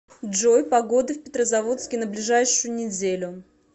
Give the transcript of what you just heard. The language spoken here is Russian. джой погода в петрозаводске на ближайшую неделю